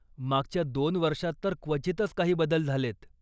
मागच्या दोन वर्षात तर क्वचितच काही बदल झालेत.